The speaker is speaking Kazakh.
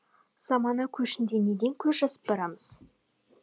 замана көшінде неден көз жазып барамыз